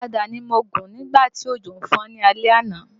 Ọ̀kadà ni mo gùn nígbà tí òjò ń fọ́n lálẹ́ àná